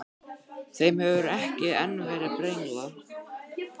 Þeim hefur ekki enn verið brenglað.